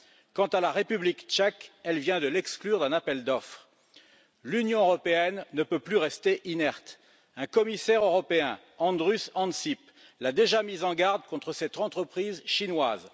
Quant à la République tchèque, elle vient de l'exclure d'un appel d'offres. L'Union européenne ne peut plus rester inerte un Commissaire européen, Andrus Ansip, l'a déjà mise en garde contre cette entreprise chinoise.